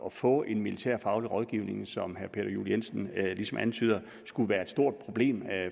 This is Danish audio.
at få en militærfaglig rådgivning som herre peter juel jensen ligesom antyder skulle være et stort problem